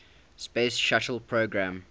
space shuttle program